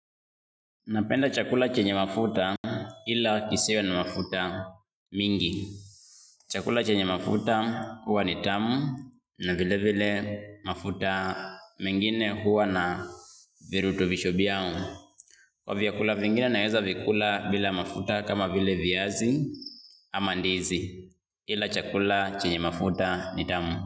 Napenda chakula chenye mafuta ila kisiwe na mafuta mingi. Chakula chenye mafuta huwa ni tamu na vile vile mafuta mengine huwa na virutubisho vyao. Kwa vyakula vingine naeza vikula bila mafuta kama vile viazi ama ndizi ila chakula chenye mafuta ni tamu.